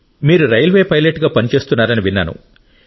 మీరు రైల్వే పైలట్గా పనిచేస్తున్నారని విన్నాను